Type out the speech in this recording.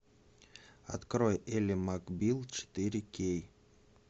открой элли макбил четыре кей